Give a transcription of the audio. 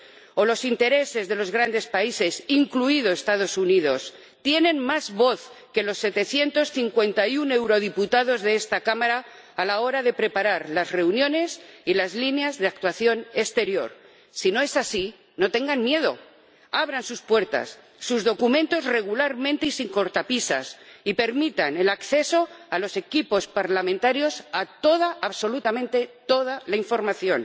¿O es que los intereses de los grandes países, incluidos los Estados Unidos, tienen más voz que los 751 eurodiputados de esta Cámara a la hora de preparar las reuniones y las líneas de actuación exterior? Si no es así, no tengan miedo, abran sus puertas, sus documentos, regularmente y sin cortapisas, y permitan el acceso a los equipos parlamentarios a toda, absolutamente toda la información,